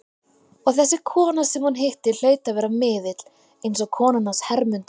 Og þessi kona sem hún hitti hlaut að vera miðill, eins og konan hans Hermundar.